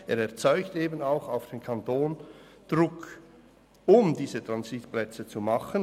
Denn er erzeugt auch Druck auf den Kanton, um diese Transitplätze zu schaffen.